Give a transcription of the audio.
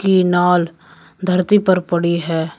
की नाल धरती पर पड़ी है।